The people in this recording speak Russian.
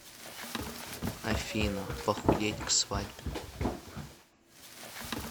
афина похудеть к свадьбе